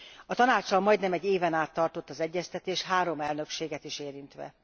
A Tanáccsal majdnem egy éven át tartott az egyeztetés három elnökséget is érintve.